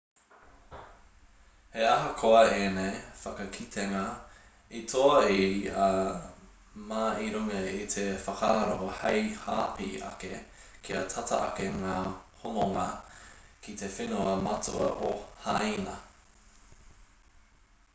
he ahakoa ēnei whakakitenga i toa i a ma i runga i te whakaaro hei hāpai ake kia tata ake ngā hononga ki te whenua matua o hāina